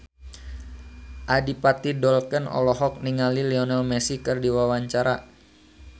Adipati Dolken olohok ningali Lionel Messi keur diwawancara